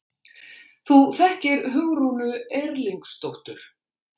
Þú þekkir Hugrúnu Erlingsdóttur?